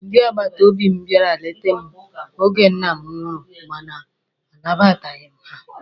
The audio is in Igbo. Ndị agbata obi m bịara lete m oge nna m nwụrụ mana a nabataghi m ha.